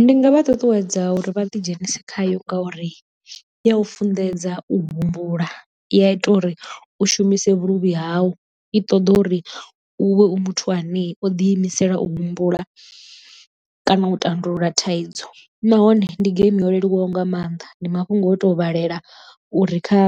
Ndi nga vha ṱuṱuwedza uri vha ḓi dzhenise khayo ngauri i ya u funḓedza u humbula i a ita uri u shumise vhuluvhi hau i ṱoḓa uri u vhe u muthu ane o ḓi imisela u humbula, kana u tandulula thaidzo nahone ndi geimi yo leluwaho nga mannḓa ndi mafhungo o to vhalela uri kha